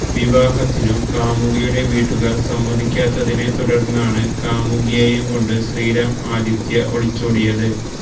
വിവാഹത്തിനു കാമുകിയുടെ വീട്ടുകാർ സമ്മതിക്കാതിരുന്നതിനെ തുടർന്നാണ് കാമുകിയെയും കൊണ്ട് ശ്രീറാം ആദിത്യ ഒളിച്ചോടിയത്